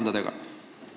Aitäh!